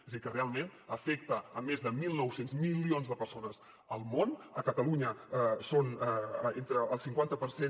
és a dir que realment afecta més de mil nou cents milions de persones al món a catalunya són entre el cinquanta per cent